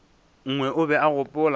nngwe o be a gopola